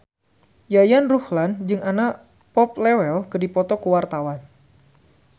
Yayan Ruhlan jeung Anna Popplewell keur dipoto ku wartawan